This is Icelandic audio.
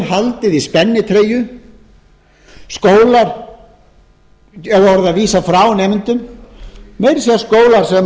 haldið í spennitreyju skólar hafi orðið að vísa frá nemendum meira að segja